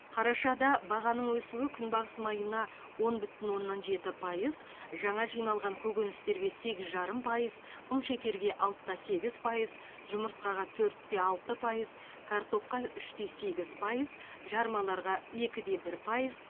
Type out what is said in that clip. қарашада бағаның өсуі күнбағыс майына он бүтін оннан жеті пайыз жаңа жиналған көкөністерге сегіз жарым пайыз құмшекерге алты да сегіз пайыз жұмыртқаға төрт те алты пайыз картопқа үш те сегіз пайыз жармаларға екі де бір пайыз